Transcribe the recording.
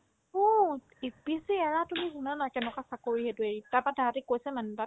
অ' APSC এৰা তুমি শুনানা কেনেকুৱা চাকৰি সেইটো এৰি তাৰপৰা তাহাতে কৈছে মানে তাত